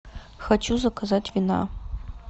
хочу заказать вина